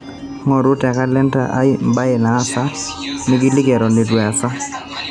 ngoru te kalenda aai mbae naasa nikiliki eton eitu easa